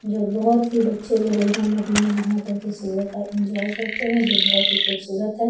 जो बहुत ही बच्चे लोग यहां नदी में नहा करके सुबह का इंजॉय करते हैं जो बहुत ही खूबसूरत है।